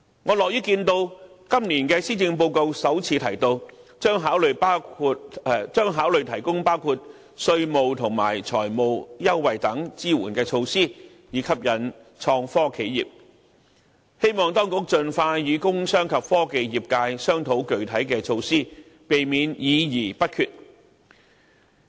我樂於看到今年的施政報告首次提到政府將考慮提供包括稅務及財務優惠等支援措施，以吸引創科企業，希望當局盡快與工商及科技業界商討具體措施，以免議而不決。